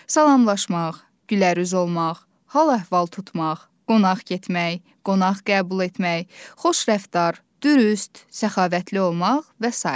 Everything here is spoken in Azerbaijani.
Salamlaşmaq, gülərüz olmaq, hal-əhval tutmaq, qonaq getmək, qonaq qəbul etmək, xoş rəftar, dürüst, səxavətli olmaq və sair.